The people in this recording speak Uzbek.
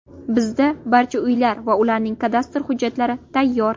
Bizda barcha uylar va ularning kadastr hujjatlari tayyor.